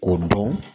O dɔn